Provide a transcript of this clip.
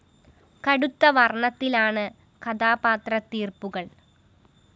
കടുത്ത വര്‍ണത്തിലാണ് കഥാപാത്ര തീര്‍പ്പുകള്‍